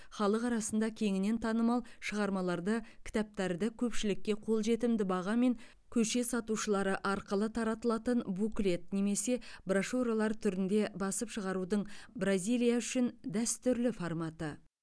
халық арасында кеңінен танымал шығармаларды кітаптарды көпшілікке қолжетімді бағамен көше сатушылары арқылы таратылатын буклет немесе брошюралар түрінде басып шығарудың бразилия үшін дәстүрлі форматы